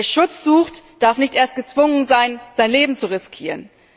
Wer Schutz sucht, darf nicht erst gezwungen sein, sein Leben zu riskieren.